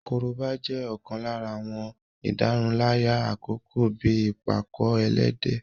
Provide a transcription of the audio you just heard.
Korobá jẹ́ ọ̀kan lára àwọn ìdárunlárà àkọ́kọ́ bíi ìpàkọ-ẹlẹ́dẹ̀